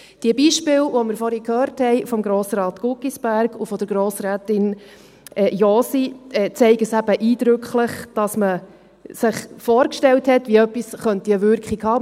Die Beispiele, die wir vorhin von Grossrat Guggisberg und von Grossrätin Josi gehört haben, zeigen eben eindrücklich, dass man sich vorgestellt hat, wie etwas eine Wirkung haben könnte.